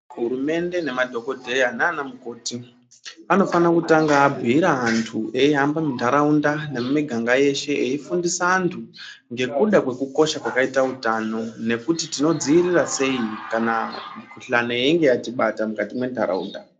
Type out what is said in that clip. Hurumende nemadhogodheya naana mukoti anofana kutanga abhuira antu eihamba muntaraunda nemumiganga yeshe eifundisa antu ngekuda kwekukosha kwakaita utano. Nekuti tinodzivirira sei kana mikuhlani yeinge yatibata mukati mwentaraunda.